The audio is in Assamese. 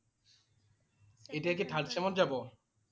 এতিয়া কি third sem ত যাব?